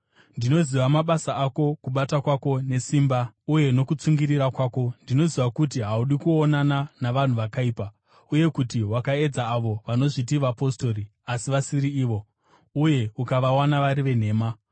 Ndinoziva mabasa ako, kubata kwako nesimba uye nokutsungirira kwako. Ndinoziva kuti haudi kuonana navanhu vakaipa, uye kuti wakaedza avo vanozviti vapostori asi vasiri ivo, uye ukavawana vari venhema.